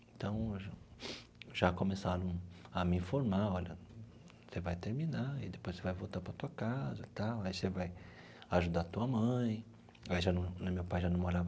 Então, já começaram a me informar, olha, você vai terminar e depois você vai voltar para a tua casa e tal, aí você vai ajudar a tua mãe, aí já não meu pai já não morava.